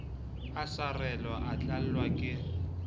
a sarelwa o tlallwa ke